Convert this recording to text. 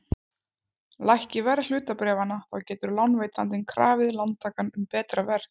Lækki verð hlutabréfanna þá getur lánveitandinn krafið lántakann um betra veð.